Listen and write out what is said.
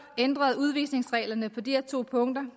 ændrede udvisningsreglerne på de her to punkter